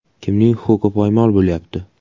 Kimning huquqi poymol bo‘lyapti?